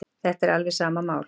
Þetta er alveg sama mál.